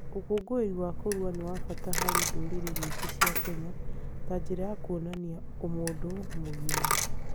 Ũkũngũĩri wa kũrua nĩ wa bata harĩ ndũrĩrĩ nyingĩ cia Kenya ta njĩra ya kuonania ũmũndũ mũgima.